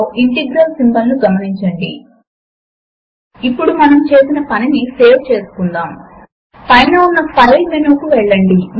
ఇక్కడ మనము ఒక ప్రత్యేకమైన మార్క్ అప్ లాంగ్వేజ్ లో గణిత సూత్రములను టైప్ చేయవచ్చు